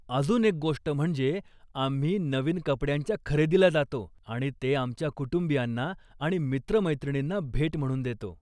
अजून एक गोष्ट म्हणजे आम्ही नवीन कपड्यांच्या खरेदीला जातो आणि ते आमच्या कुटुंबीयांना आणि मित्रमैत्रिणींना भेट म्हणून देतो.